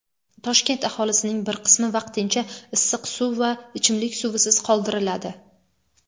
Toshkent aholisining bir qismi vaqtincha issiq suv va ichimlik suvisiz qoldiriladi.